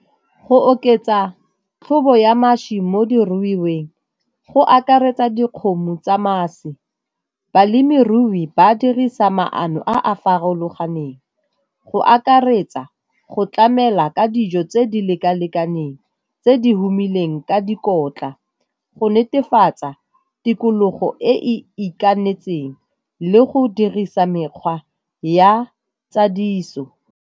Go oketsa tlhobo ya mašwi mo diruiweng go akaretsa dikgomo tsa mašwi. Balemirui ba dirisa maano a a farologaneng go akaretsa go tlamela ka dijo tse di leka-lekaneng tse di humileng ka dikotla go netefatsa tikologo e e itakanetseng le go dirisa mekgwa ya tsa tsadiso.